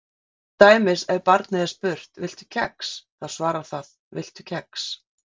Til dæmis ef barnið er spurt: Viltu kex? þá svarar það Viltu kex?